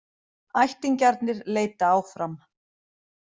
Ættingjarnir leita áfram